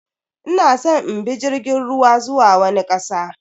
Ina san in bi jirgin ruwa zuwa wani kasa.